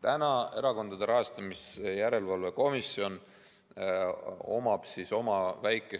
Praegu on Erakondade Rahastamise Järelevalve Komisjonil oma väike